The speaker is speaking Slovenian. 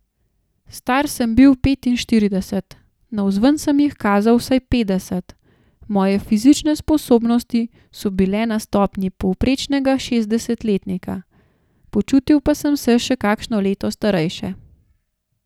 Star sem bil petinštirideset, navzven sem jih kazal vsaj petdeset, moje fizične sposobnosti so bile na stopnji povprečnega šestdesetletnika, počutil pa sem se še kakšno leto starejše.